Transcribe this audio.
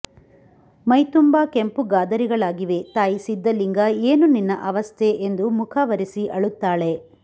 ಮೈತುಂಬಾ ಕೆಂಪು ಗಾದರಿಗಳಾಗಿವೆ ತಾಯಿ ಸಿದ್ದಲಿಂಗ ಏನು ನಿನ್ನ ಆವಸ್ಥೆ ಎಂದು ಮುಖ ವರೆಸಿ ಅಳುತ್ತಾಳೆ